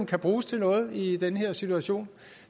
kan bruges til noget i den her situation